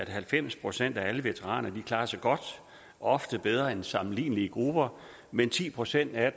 at halvfems procent af alle veteraner klarer sig godt ofte bedre end sammenlignelige grupper men ti procent af